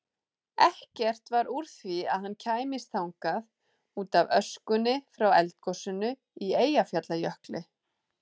Ekkert varð úr því að hann kæmist þangað útaf öskunni frá eldgosinu í Eyjafjallajökli.